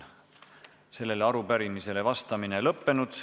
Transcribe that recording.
Sellele arupärimisele vastamine on lõppenud.